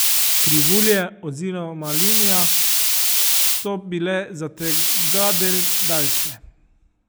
Krivulje oziroma linija so bile zategadelj daljše.